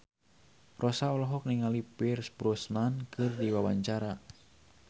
Rossa olohok ningali Pierce Brosnan keur diwawancara